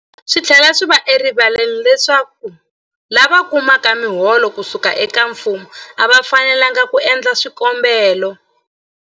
Swi tlhela swi va erivaleni leswaku lava kumaka miholo ku suka eka mfumo a va fanelanga ku endla swikombelo.